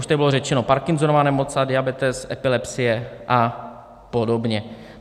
Už tady bylo řečeno: Parkinsonova nemoc, diabetes, epilepsie a podobně.